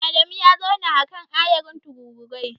Adamu ya zauna a kan ayarin tururuwai.